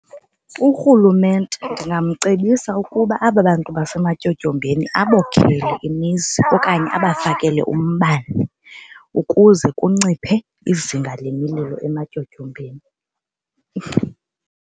URhulumente ndingamcebisa ukuba aba bantu basematyotyombeni abokhele imizi okanye abafakele umbane ukuze kunciphe izinga lemililo ematyotyombeni.